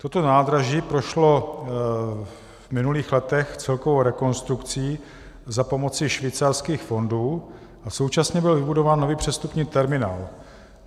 Toto nádraží prošlo v minulých letech celkovou rekonstrukcí za pomoci švýcarských fondů a současně byl vybudován nový přestupní terminál.